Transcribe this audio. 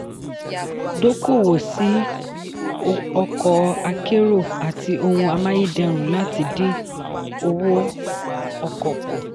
dókòwò sí ọkọ̀ akérò àti ohun amáyédẹrùn láti dín owó ọkọ̀ kù.